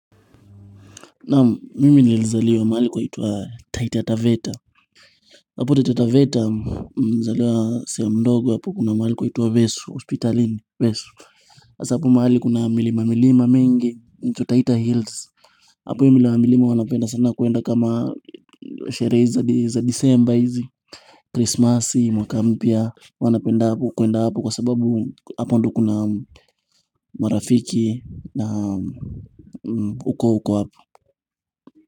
Naam mimi nililzaliwa mahali kunaitwa Taita Taveta hapo Taita Taveta mzaliwa siya mdogo hapo kuna mahali kunaitwa vesu hospitalini vesu hasa hapo mahali kuna milima milima mingi inaitwa Taita Hills hapo nyuma ya mlima anapenda sana kuenda kama sherehe za desemba hizi Christmas mwaka mpya wanapenda hapo kuenda hapo kwa sababu hapo ndo kuna marafiki na ukoo uko hapo.